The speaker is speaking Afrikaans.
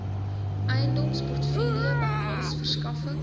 eiendomsportefeulje behels verskaffing